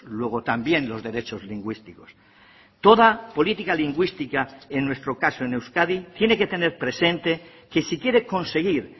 luego también los derechos lingüísticos toda política lingüística en nuestro caso en euskadi tiene que tener presente que si quiere conseguir